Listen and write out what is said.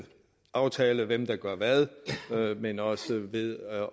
aftale hvem der gør hvad men også ved at